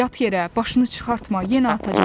Yat yerə, başını çıxartma, yenə atacaqlar.